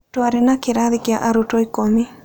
Twarĩ na kĩrathi kĩa arutwo ikũmi.